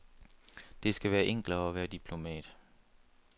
Det skal være enklere at være diplomat.